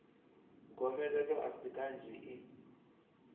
gomelelo a si kanzhi i